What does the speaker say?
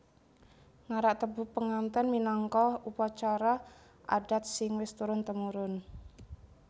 Ngarak tebu penganten minangka upacara adat sing wis turun temurun